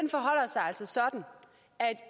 er